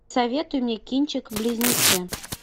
советуй мне кинчик близнецы